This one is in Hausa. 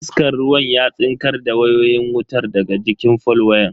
Iskan ruwan ya tsinkar da wayoyin wutar daga jikin fol wayan.